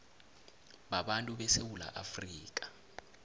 babantu besewula afrika